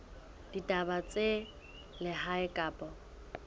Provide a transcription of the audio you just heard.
ya ditaba tsa lehae kapa